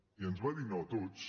i ens va dir no a tots